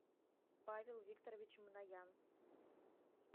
павел викторович мнаян